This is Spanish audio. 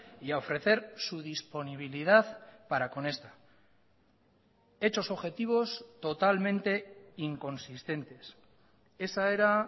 y a ofrecer su disponibilidad para con esta hechos objetivos totalmente inconsistentes esa era